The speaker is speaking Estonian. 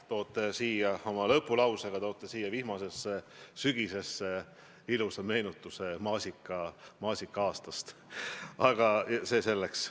Toote oma lõpulausega siia vihmasesse sügisesse ilusa meenutuse maasika-aastast, aga see selleks.